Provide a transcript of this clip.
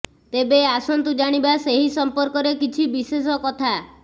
ତେବେ ଆସନ୍ତୁ ଜାଣିବା ସେହି ସମ୍ପର୍କରେ କିଛି ବିଶେଷ କଥା